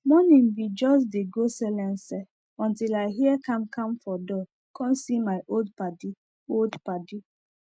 morning bin jus dey go selense until i hear kam kam for door com see my old padi old padi